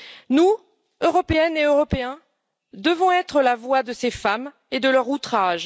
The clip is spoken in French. Nous, Européennes et Européens, devons être la voix de ces femmes et de leur outrage.